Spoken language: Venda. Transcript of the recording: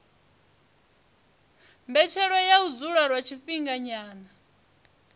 mbetshelwa ya u dzula lwa tshifhinganyana